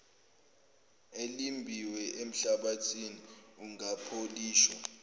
elimbiwe enhlabathini ungapholishwa